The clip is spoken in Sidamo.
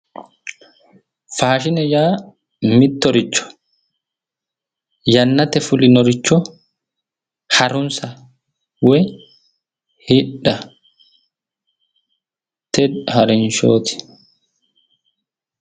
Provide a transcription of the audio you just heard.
Faashine yaa mittoricho yannate fulinoricho harunsa woy hidhate harinshooti